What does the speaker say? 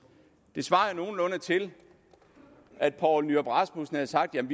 det svarer jo nogenlunde til at poul nyrup rasmussen havde sagt